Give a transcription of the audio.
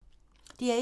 DR1